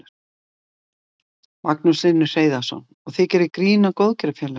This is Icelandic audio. Magnús Hlynur Hreiðarsson: Og þið gerið grín að góðgerðarfélögum?